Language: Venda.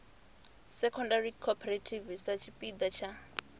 secondary cooperative sa tshipiḓa tsha